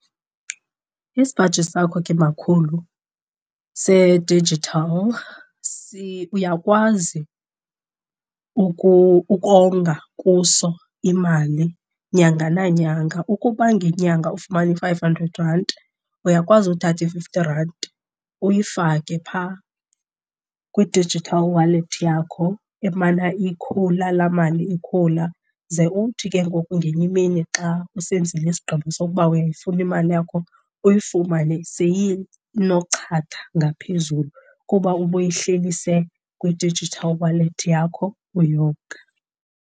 Isipaji sakho ke makhulu se-digital uyakwazi ukonga kuso imali nyanga nanyanga. Ukuba ngenyanga ufumana i-five hundred ranti uyakwazi uthatha i-fifty ranti uyifake phaa kwi-digital wallet yakho emana ikhula laa mali ikhula. Ze uthi ke ngoku ngenye imini xa usenzile isigqibo sokuba uyayifuna imali yakho uyifumane seyinochatha ngaphezulu kuba ubuyihlelise kwi-digital wallet yakho uyonga.